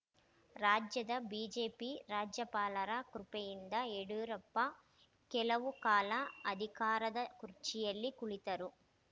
ರಾಜ್ಯದ ಬಿಜೆಪಿ ರಾಜ್ಯಪಾಲರ ಕೃಪೆಯಿಂದ ಯಡಿಯೂರಪ್ಪ ಕೆಲವು ಕಾಲ ಅಧಿಕಾರದ ಕುರ್ಚಿಯಲ್ಲಿ ಕುಳಿತರು